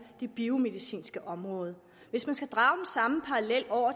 det biomedicinske område hvis man skal drage den samme parallel